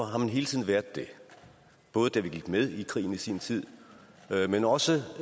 har man hele tiden været det både da vi gik med i krigen i sin tid men også